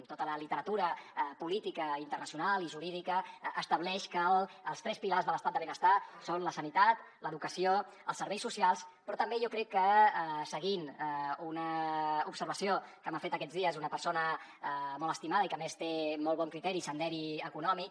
tota la literatura política internacional i jurídica estableix que els tres pilars de l’estat del benestar són la sanitat l’educació els serveis socials però també jo crec que seguint una observació que m’ha fet aquests dies una persona molt estimada i que a més té molt bon criteri i senderi econòmic